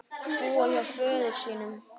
Búa hjá föður sínum?